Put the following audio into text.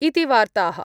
॥ इति वार्ताः ॥..